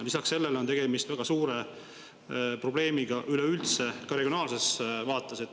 Lisaks sellele on tegemist väga suure probleemiga üleüldse, ka regionaalses vaates.